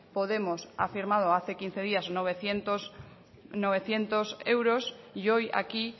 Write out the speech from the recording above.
podemos ha firmado hace quince días novecientos euros y hoy aquí